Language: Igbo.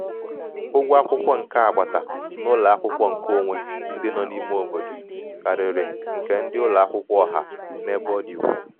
ụgwọ akwụkwọ nke agbata nke agbata n'ụlọ akwụkwọ nke onwe ndị nọ n'ime obodo karịrị um nke ndị ụlọ akwụkwọ ọha um n'ebe ọ dị ukwuu.